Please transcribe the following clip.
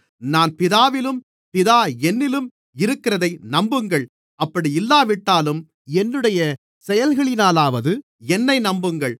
நான் பிதாவிலும் பிதா என்னிலும் இருக்கிறதை நம்புங்கள் அப்படி இல்லாவிட்டாலும் என்னுடைய செயல்களினாலாவது என்னை நம்புங்கள்